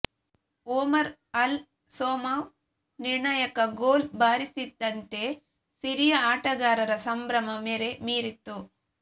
Omar Al Somah ನಿರ್ಣಾಯಕ goal ಬಾರಿಸ್ತಿದ್ದಂತೆ Syria ಆಟಗಾರರ ಸಂಭ್ರಮ ಮೇರೆ ಮೀರಿತ್ತು